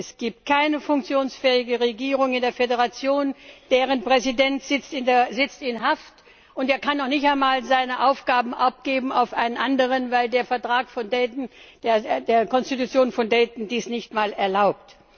Es gibt keine funktionsfähige Regierung in der Föderation. Deren Präsident sitzt in Haft, und er kann noch nicht einmal seine Aufgaben abgeben an einen anderen, weil der Vertrag von Dayton der Konstitution von Dayton dies nicht einmal erlaubt.